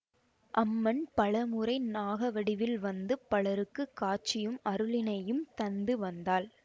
அம்மன் பல முறை நாக வடிவில் வந்து பலருக்கு காட்சியும் அருளினையும் தந்து வந்தாள்